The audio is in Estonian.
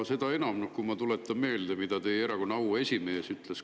Seda enam, kui ma tuletan meelde, mida teie erakonna auesimees kunagi ütles.